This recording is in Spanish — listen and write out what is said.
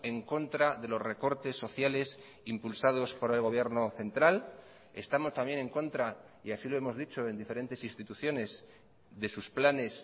en contra de los recortes sociales impulsados por el gobierno central estamos también en contra y así lo hemos dicho en diferentes instituciones de sus planes